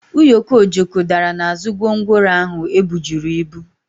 ụyọkọ Ojoko dara n'azụ gwongworo ahụ e bujuru ibu.